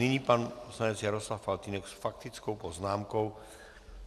Nyní pan poslanec Jaroslav Faltýnek s faktickou poznámkou.